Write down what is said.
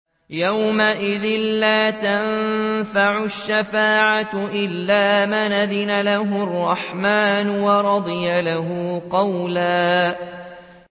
يَوْمَئِذٍ لَّا تَنفَعُ الشَّفَاعَةُ إِلَّا مَنْ أَذِنَ لَهُ الرَّحْمَٰنُ وَرَضِيَ لَهُ قَوْلًا